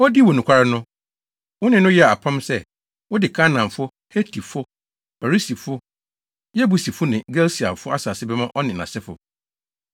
Odii wo nokware no, wo ne no yɛɛ apam sɛ, wode Kanaanfo, Hetifo, Perisifo Yebusifo ne Girgasifo asase bɛma ɔne nʼasefo. Na wudii wo bɔhyɛ so, efisɛ daa wudi wʼasɛm so.